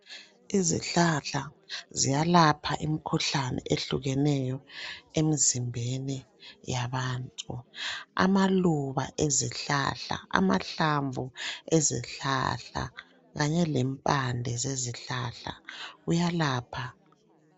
Izihlahla ziyalapha imkhuhlane ehlukeneyo emzimbeni yabantu. Amaluba ezihlahla, amahlamvu ezihlahla, kanye lempande zezihlahla, kuyalapha.